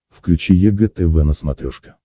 включи егэ тв на смотрешке